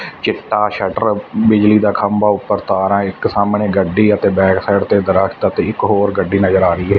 ਚਿੱਟਾ ਸ਼ਟਰ ਬਿਜਲੀ ਦਾ ਖੰਭਾ ਉੱਪਰ ਤਾਰਾਂ ਇਕ ਸਾਹਮਣੇ ਗੱਡੀ ਅਤੇ ਬੈਕ ਸਾਈਡ ਤੇ ਦਰਖਤ ਇੱਕ ਹੋਰ ਗੱਡੀ ਨਜ਼ਰ ਆ ਰਹੀ ਹਾ।